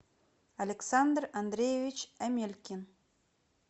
александр андреевич амелькин